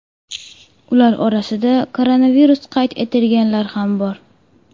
Ular orasida koronavirus qayd etilganlar ham bor.